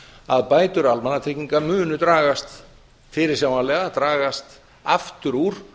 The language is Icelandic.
að bætur almannatrygginga munu fyrirsjáanlega dragast aftur úr